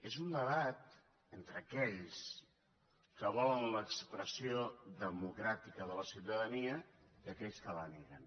és un debat entre aquells que volen l’expressió democràtica de la ciutadania i aquells que la neguen